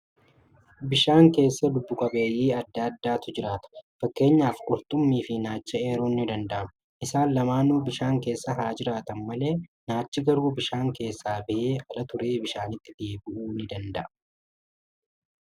Bishaan keessa lubbu qabeeyyii adda addaatu jiraata. Fakkeenyaaf qurxummii fi naacha eeruun ni danda'ama. Isaan lamaanuu bishaan keessa haa jiraatan malee, naachi garuu bishaa keessaa ba'ee ala turee bishaanitti deebi'uu ni danda'a.